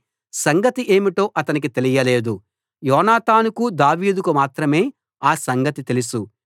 సంగతి ఏమిటో అతనికి తెలియలేదు యోనాతానుకు దావీదుకు మాత్రమే ఆ సంగతి తెలుసు